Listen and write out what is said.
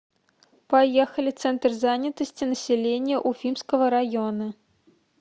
поехали центр занятости населения уфимского района